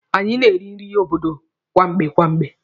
Anyị na-esi nri obodo kwamgbe kwamgbe.